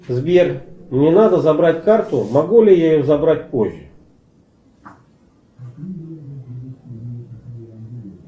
сбер мне надо забрать карту могу ли я ее забрать позже